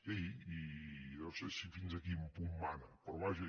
sí i jo no sé fins a quin punt mana però vaja